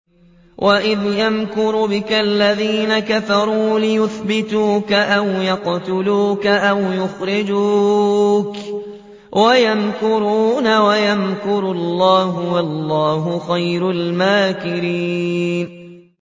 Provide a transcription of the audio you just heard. وَإِذْ يَمْكُرُ بِكَ الَّذِينَ كَفَرُوا لِيُثْبِتُوكَ أَوْ يَقْتُلُوكَ أَوْ يُخْرِجُوكَ ۚ وَيَمْكُرُونَ وَيَمْكُرُ اللَّهُ ۖ وَاللَّهُ خَيْرُ الْمَاكِرِينَ